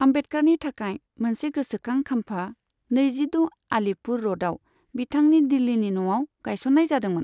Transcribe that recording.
आम्बेडकारनि थाखाय मोनसे गोसोखां खाम्फा नैजिद' आलिपुर र'डआव बिथांनि दिल्लीनि न'आव गायसननाय जादोंमोन।